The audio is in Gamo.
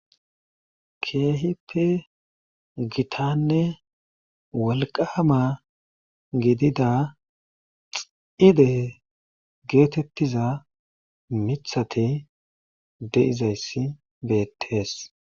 Keehippe gitanne wolqqaama gidida xide geetteettiza mithati de7izayssi beettees.